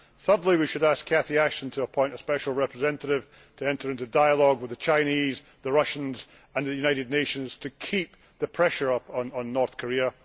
Thirdly, we should ask Catherine Ashton to appoint a special representative to enter into dialogue with the Chinese, the Russians and the United Nations, to keep the pressure up on North Korea.